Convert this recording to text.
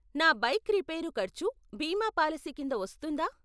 నా bike repair ఖర్చు బీమా పాలసీ కింద వస్తుందా?